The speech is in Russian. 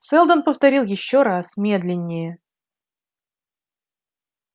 сэлдон повторил ещё раз медленнее